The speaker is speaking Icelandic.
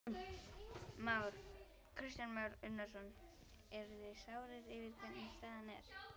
Kristján Már Unnarsson: Eruð þið sárir yfir hvernig staðan er?